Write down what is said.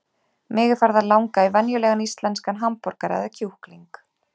Mig er farið að langa í venjulegan íslenskan hamborgara eða kjúkling.